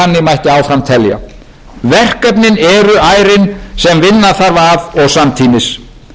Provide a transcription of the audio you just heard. mætti áfram telja verkefnin eru ærin sem vinna þarf að og samtímis banka og